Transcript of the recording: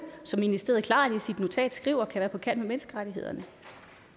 som ministeriet i sit notat klart skriver kan være på kant med menneskerettighederne